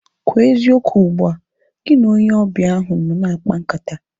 Kwụọ eziokwu ugbua! Gị na onye ọbịa ahu nọ na-akpa nkata